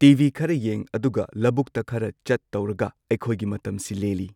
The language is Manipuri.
ꯇꯤꯚꯤ ꯈꯔ ꯌꯦꯡ ꯑꯗꯨꯒ ꯂꯧꯕꯨꯛꯇ ꯈꯔ ꯆꯠ ꯇꯧꯔꯒ ꯑꯩꯈꯣꯏꯒꯤ ꯃꯇꯝꯁꯤ ꯂꯦꯜꯂꯤ꯫